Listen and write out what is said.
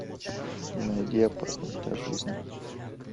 найди опасно для жизни